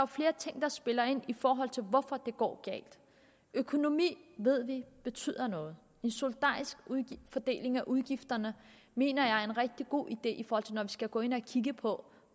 flere ting der spiller ind i forhold til hvorfor det går galt økonomi ved vi betyder noget en solidarisk fordeling af udgifterne mener jeg er en rigtig god idé når vi skal gå ind og kigge på